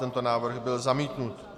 Tento návrh byl zamítnut.